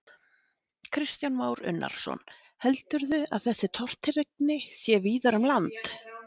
Kristján Már Unnarsson: Heldurðu að þessi tortryggni sé víðar um land?